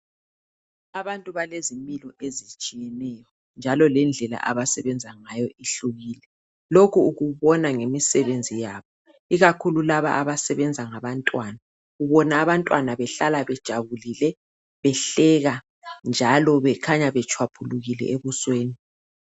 Abantu balezimilo ezitshiyeneyo njalo lendlela abasebenza ngayo ihlukile lokhu ukubona ngemisebenzi yabo ikakhulu laba abasebenza ngabantwana ubona abantwana behlala bejabulele behleka njalo bekhanya betshwaphulukile ebusweni